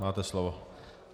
Máte slovo.